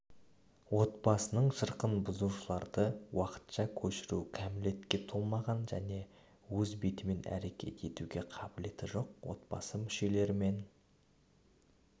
отбасының шырқын бұзушыларды уақытша көшіру кәмелетке толмаған және өз бетімен әрекет етуге қабілеті жоқ отбасы мүшелерімен